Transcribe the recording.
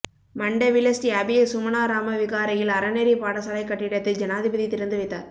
மண்டவில ஸ்ரீ அபய சுமனாராம விகாரையில் அறநெறி பாடசாலைக் கட்டிடத்தை ஜனாதிபதி திறந்து வைத்தார்